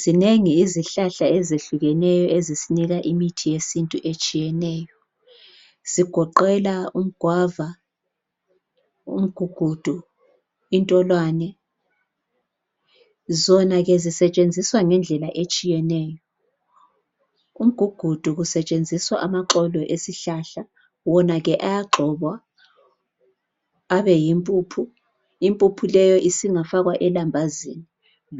zinengi izihlahla ezehlukeneyo ezisinika imithi yesintu etshiyeneyo zigoqela umgwava umgugudu intolwane zona ke zisetshenziswa ngendlela etshiyeneyo umgugudu kusetshenziswa amaxolo esihlahla wona ke ayagxobwa abe yimpuphu impuphu leyo isingafakwa elambazini